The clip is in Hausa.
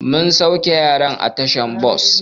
Mun sauke yaran a tashar bas.